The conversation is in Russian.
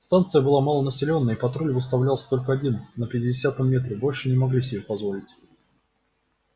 станция была малонаселённая и патруль выставлялся только один на пятидесятом метре большего не могли себе позволить